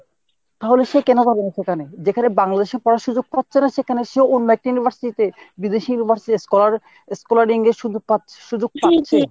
তাহলে সে কেন যাবে না সেখানে ? যেখানে সে Bangladesh এ পড়ার সুযোগ পাচ্ছে না সেখানে সে অন্য একটা university তে বিদেশী university scholar scholar